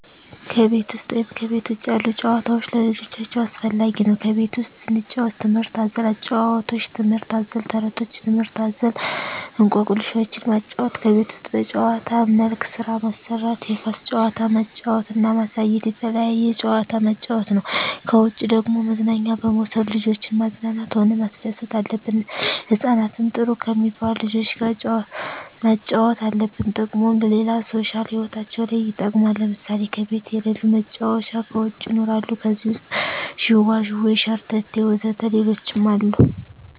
ከቤት ውሰጥ ወይም ከቤት ውጭ ያሉ ጭዋታዎች ለልጆቻቸው አስፈላጊ ነው ከቤት ውስጥ ስንጫወት ትምህርት አዘል ጫውውቶች ትምህርት አዘል ተረቶች ትምህርት አዘል እኮክልሾችን ማጫወት ከቤት ውስጥ በጭዋታ መልክ ስራ ማሰራት የኳስ ጭዋታ ማጫወት እና ማሳየት የተለያየ ጭዋታ ማጫወት ነው ከውጭ ደግሞ መዝናኛ በመውሰድ ልጆችን ማዝናናት ሆነ ማስደሰት አለብን ህጻናትን ጥሩ ከሜባሉ ልጆች ጋር ማጫወት አለብን ጥቅሙም ለሌላ ሦሻል ህይወታቸው ለይ ይጠቅማል ለምሳሌ ከቤት የለሉ መጫወቻ ከውጭ ይኖራሉ ከዜህ ውሰጥ ጅዋጅዌ ሸረተቴ ወዘተ ሌሎችም አሉ